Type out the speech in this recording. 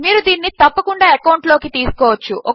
మీరు దీనిని తప్పకుండా ఎకౌంట్ లోకి తీసుకోవచ్చు